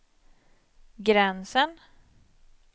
gränsen